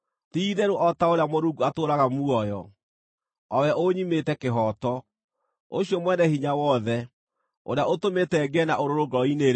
“Ti-itherũ o ta ũrĩa Mũrungu atũũraga muoyo, o we ũnyimĩte kĩhooto, ũcio Mwene-Hinya-Wothe, ũrĩa ũtũmĩte ngĩe na ũrũrũ ngoro-inĩ-rĩ,